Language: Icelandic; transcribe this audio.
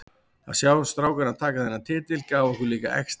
Að sjá strákana taka þennan titil gaf okkur líka extra.